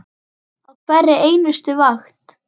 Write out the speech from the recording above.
Á hverri einustu vakt.